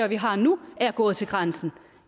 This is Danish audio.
vi har nu er at gå til grænsen